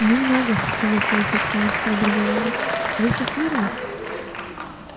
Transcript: не много согласился экс-министр образования вы со смирно